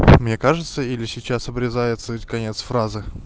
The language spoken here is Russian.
мне кажется или сейчас обрезается конец фразы